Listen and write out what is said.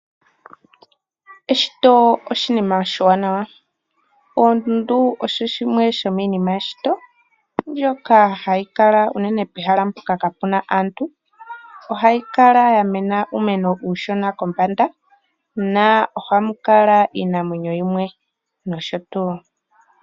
Eshito oshinima oshiwanawa. Oondundu osho shimwe shominima yeshito mbyoka hayi kala unene pehala mpoka kapu na aantu. Ohayi kala ya mena uumeno uushona kombanda nohamu kala iinamwenyo yimwe nosho tuu.